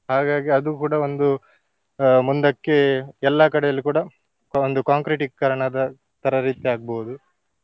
ಹಾಗಾಗಿ ಅದು ಕೂಡ ಒಂದು ಅಹ್ ಮುಂದಕ್ಕೆ ಎಲ್ಲಾ ಕಡೆಯಲ್ಲಿ ಕೂಡ ಆ ಒಂದು concret ಟೀಕರಣದ ತರ ರೀತಿ ಆಗ್ಬೋದು.